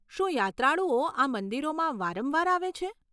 શું યાત્રાળુઓ આ મંદિરોમાં વારંવાર આવે છે?